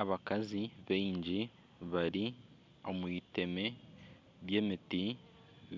Abakazi baingi bari omu iteme ry'emiti